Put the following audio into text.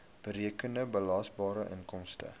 berekende belasbare inkomste